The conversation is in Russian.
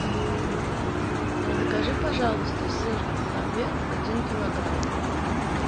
закажи пожалуйста сыр ламбер один килограмм